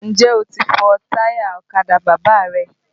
Ǹjẹ́ o ti fọ táyà ọ̀kadà Bàbá rẹ?